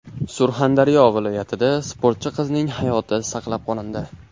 Surxondaryo viloyatida sportchi qizning hayoti saqlab qolindi.